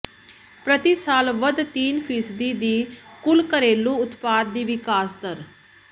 ਪ੍ਰਤੀ ਸਾਲ ਵੱਧ ਤਿੰਨ ਫੀਸਦੀ ਦੀ ਕੁੱਲ ਘਰੇਲੂ ਉਤਪਾਦ ਦੀ ਵਿਕਾਸ ਦਰ